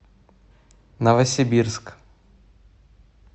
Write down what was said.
новосибирск